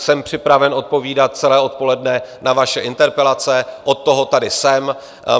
Jsem připraven odpovídat celé odpoledne na vaše interpelace, od toho tady jsem.